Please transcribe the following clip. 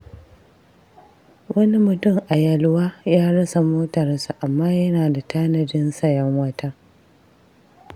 Wani mutum a Yelwa ya rasa motarsa, amma yana da tanadin sayen wata.